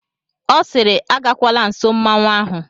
Ọ siiri agakwala nsọ mmanwụ ahụ!